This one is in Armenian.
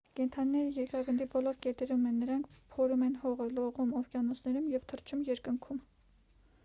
կենդանիները երկրագնդի բոլոր կետերում են նրանք փորում են հողը լողում օվկիանոսներում և թռչում երկնքում